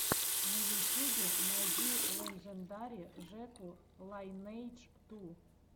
на ютюбе найди леджендари жеку лайнэйдж ту